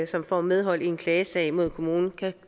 som får medhold i en klagesag mod kommunen kan